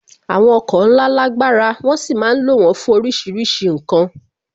Àwọn ọkọ̀ ńlá lágbára, wón sì ma ń lo wón fún oríṣiríṣi ǹkan